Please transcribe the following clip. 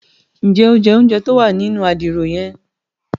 Njẹ o jẹ ounjẹ tí o wà nínú Àdìrò yen?